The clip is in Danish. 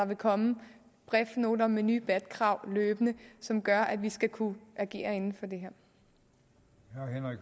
vil komme bref noter med nye bat krav som gør at vi skal kunne agere inden for det